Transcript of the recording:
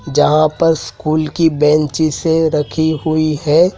जहां पर स्कूल की बेंचेस रखी हुई है।